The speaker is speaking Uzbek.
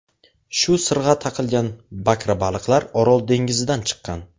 Shu sirg‘a taqilgan bakrabaliqlar Orol dengizidan chiqqan.